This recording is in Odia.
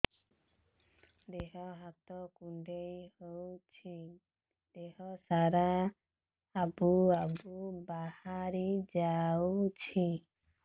ଦିହ ହାତ କୁଣ୍ଡେଇ ହଉଛି ଦିହ ସାରା ଆବୁ ଆବୁ ବାହାରି ଯାଉଛି